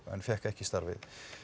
en fékk ekki starfið